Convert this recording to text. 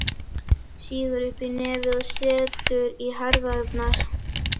Sýgur upp í nefið og setur í herðarnar.